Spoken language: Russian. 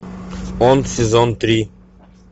он сезон три